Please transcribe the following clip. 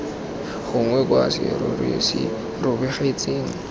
gongwe kwa serori se robegetseng